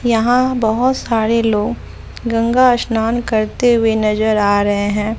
यहां बहोत सारे लोग गंगा स्नान करते हुए नजर आ रहे हैं।